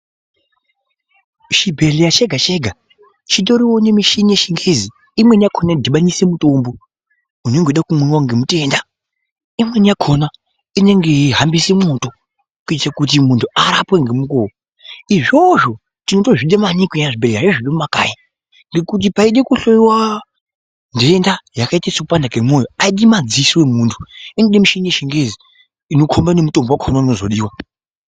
Muchibhehleya chega chega chitoriwo nemushini yechingezi ,imweni yakona inodhubanise mitombo unenge yeida kumwiwa ngemutenda .Imweni yakona inenge yeihambise mwoto ngechekuti muntu arapwe ngemukoho. Izvozvo tinotozvide maningi muzvibhehleya zvemakai ngekuti paide kuhloiwa ndenda yakaite sekupanda kemoyo aidi madziso emuntu ,inoda mishini yechingesi inokomba nemutombo wakona unozodiwa.